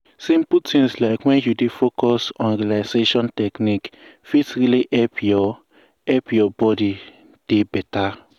simple things like wen you dey focus on relaxation technique fit really help your help your body dey beta.